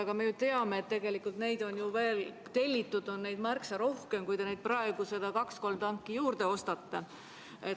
Aga me ju teame, et neid on tellitud veel märksa rohkem kui need kaks-kolm tanki, mis te praegu juurde ostate.